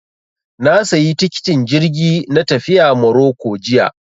Na sayi tikitin jirgi na tafiya Maroko jiya